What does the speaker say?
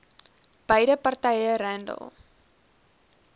beide partye randall